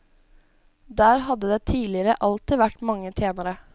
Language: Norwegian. Der hadde det tidligere alltid vært mange tjenere.